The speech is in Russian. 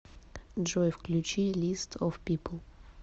джой включи лист оф пипл